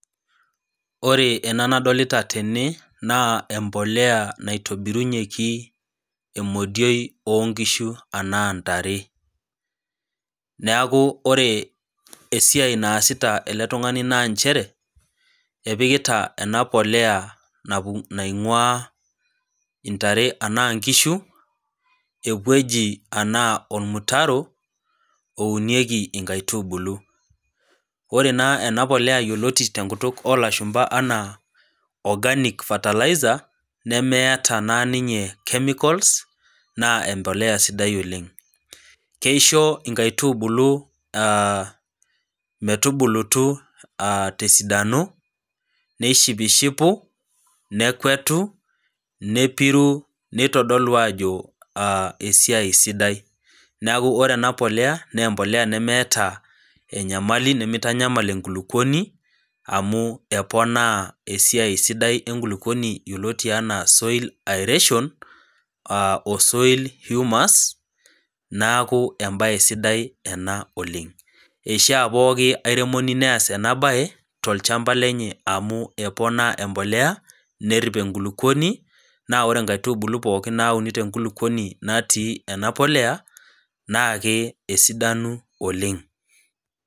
Ore ena nadolita tene, naa empolea naitobirunyeki, emodioi oo nkishu anaa ntare, neaku ore esiai naasita ele tung'ani naa nchere, epikita ena polea naing'waa, intare anaa inkishu, ewueji anaa olmutaro, ounieki inkaitubulu, ore naa ena polea yioloti te enkutuk o lashumba anaa organic fertilizer, nemeata naa ninye chemicals naa empolea sidai oleng'. Keisho inkaitubulu metubulutu te esidano, neishipushipu, nekwetu, nepiru, neitodolu aajo, esiai sidai. Neaku ore ena polea naa empolea nemeata enyamali, nemeitanyamal enkulukuoni, amu eponaa esiai sidai enkulukuoni yioloti anaa soil aeration o soil humas, neaku embae sidai ena oleng'. Eishaa pooki airemoni neas ena bae, tolchamba lenye amu eponaa empolea nerip enkulukuoni, naaore inkaitubulu pooki nauni te enkulukuoni natii ena polea, naake esidanu oleng'.